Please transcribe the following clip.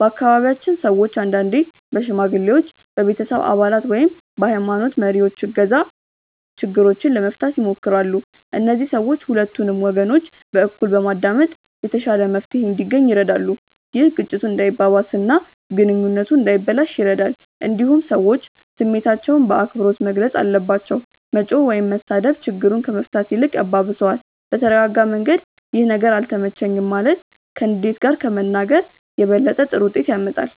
በአካባቢያችን ሰዎች አንዳንዴ በሽማግሌዎች፣ በቤተሰብ አባላት ወይም በሀይማኖት መሪዎች እገዛ ችግሮችን ለመፍታት ይሞክራሉ። እነዚህ ሰዎች ሁለቱንም ወገኖች በእኩል በማዳመጥ የተሻለ መፍትሄ እንዲገኝ ይረዳሉ። ይህ ግጭቱ እንዳይባባስ እና ግንኙነቱ እንዳይበላሽ ይረዳል። እንዲሁም ሰዎች ስሜታቸውን በአክብሮት መግለጽ አለባቸው። መጮህ ወይም መሳደብ ችግሩን ከመፍታት ይልቅ ያባብሰዋል። በተረጋጋ መንገድ “ይህ ነገር አልተመቸኝም” ማለት ከንዴት ጋር ከመናገር የበለጠ ጥሩ ውጤት ያመጣል።